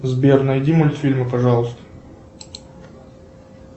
сбер найди мультфильмы пожалуйста